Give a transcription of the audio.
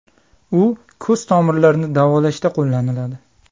U ko‘z tomirlarini davolashda qo‘llaniladi.